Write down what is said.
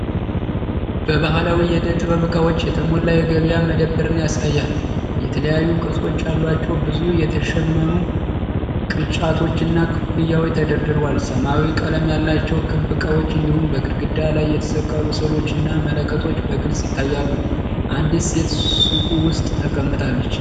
በባህላዊ የዕደ-ጥበብ እቃዎች የተሞላ የገበያ መደብርን ያሳያል። የተለያዩ ቅርጾች ያላቸው ብዙ የተሸመኑ ቅርጫቶችና ኮፍያዎች ተደርድረዋል። ሰማያዊ ቀለም ያላቸው ክብ እቃዎች እንዲሁም በግድግዳ ላይ የተሰቀሉ ስዕሎችና መለከቶች በግልጽ ይታያሉ። አንዲት ሴት ሱቁ ውስጥ ተቀምጣለች።